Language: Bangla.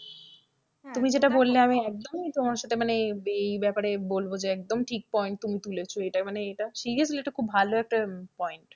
তুমি যেটা বললে আমি একদমই তোমার সাথে মানে এই ব্যাপারে বলবো যে একদম ঠিক point তুমি তুলেছো এটা মানে এটা seriously একটা খুব ভালো একটা point